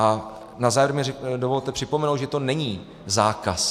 A na závěr mi dovolte připomenout, že to není zákaz.